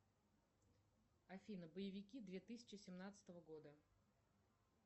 афина боевики две тысячи семнадцатого года